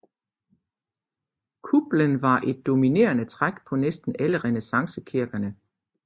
Kuplen var et dominerende træk på næsten alle renæssancekirkerne